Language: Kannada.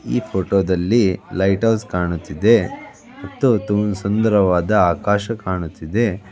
ಈ ಫೋಟೋ ದಲ್ಲಿ ಲೈಟ್ ಹೌಸ್ ಕಾಣುತ್ತಿದೆ ಮತ್ತು ಸುಂದರವಾದ ಆಕಾಶ ಕಾಣುತ್ತಿದೆ .